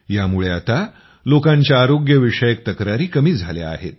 यामुळे आता लोकांच्या आरोग्यविषयक तक्रारी कमी झाल्या आहेत